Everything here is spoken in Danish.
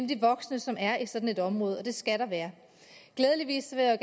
de voksne som er i sådan et område og det skal der være glædeligvis vil jeg